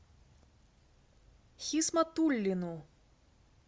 хисматуллину